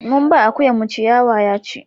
mun ba akuyan mu ciyawa ya ci